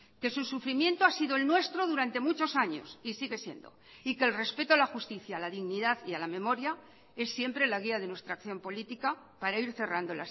que su sufrimiento ha sido el nuestro durante muchos años y sigue siendo y que el respeto a la justicia a la dignidad y a la memoria es siempre la guía de nuestra acción política para ir cerrando